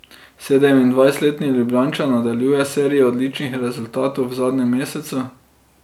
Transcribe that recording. Sedemindvajsetletni Ljubljančan nadaljuje serijo odličnih rezultatov v zadnjem mesecu.